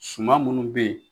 Suman munnu bɛ yen.